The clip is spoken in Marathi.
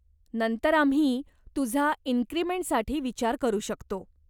नंतर आम्ही तुझा इन्क्रिमेंटसाठी विचार करू शकतो.